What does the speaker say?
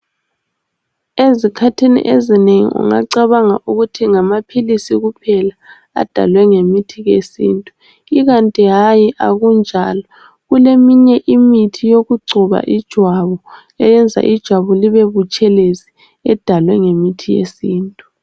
Ezikhathini ezinengi ungacabanga ukuthi ngamaphilisi kuphela adalwe ngemithi yesintu. Ikanti hayi akunjalo kuleminye imithi yokugcoba ijwabu eyenza ijwabu libe butshelezi edalwe ngemithi yesintu.